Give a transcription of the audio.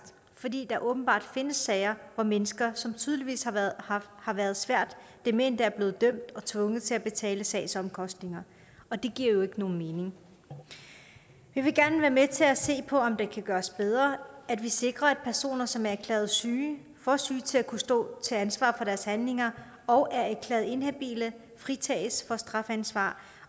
fordi der åbenbart findes sager hvor mennesker som tydeligvis har været har været svært demente er blevet dømt og tvunget til at betale sagsomkostninger og det giver jo ikke nogen mening vi vil gerne være med til at se på om det kan gøres bedre at vi sikrer at personer som er erklæret syge for syge til at kunne stå til ansvar for deres handlinger og er erklæret inhabile fritages for strafansvar